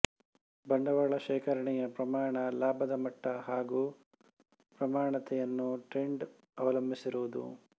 ಬಂಡವಾಳ ಶೇಖರಣೆಯ ಪ್ರಮಾಣ ಲಾಭದಮಟ್ಟ ಹಾಗೂ ಪ್ರವಣತೆಯನ್ನು ಟ್ರೆಂಡ್ ಅವಲಂಬಿಸಿರುವುದು